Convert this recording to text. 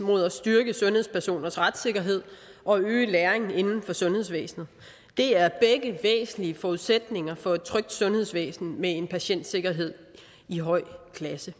mod at styrke sundhedspersoners retssikkerhed og øge læringen inden for sundhedsvæsenet det er begge væsentlige forudsætninger for et trygt sundhedsvæsen med en patientsikkerhed i høj klasse